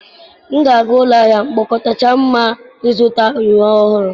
M ga-aga ụlọ ahịa mkpokọta kacha mma ịzụta uwe ọhụrụ